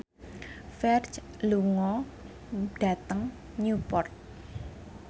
Ferdge lunga dhateng Newport